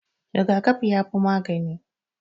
Rigakafi ya fi magani